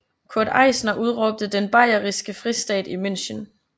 Kurt Eisner udråbte den Bayerske fristat i München